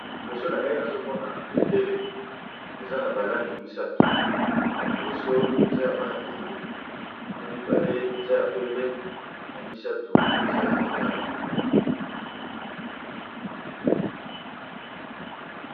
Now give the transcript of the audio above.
Liboso na ngai nazomona bendele eza na ba langi misatu ya liboso eza ya mayi ya pondu ya mibale eza ya pembe ya misato eza ya motane.